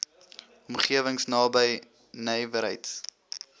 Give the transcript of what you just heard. omgewings naby nywerheids